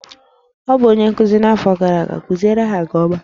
Ọ bụ onye nkuzi n'afọ gara aga, kuziere ha nke ọma!